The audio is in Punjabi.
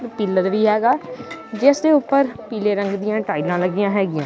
ਪਿਲਰ ਵੀ ਹੈਗਾ ਜਿਸ ਦੇ ਉੱਪਰ ਪੀਲੇ ਰੰਗ ਦੀਆਂ ਟਾਈਲਾਂ ਲੱਗੀਆਂ ਹੈਗੀਆਂ।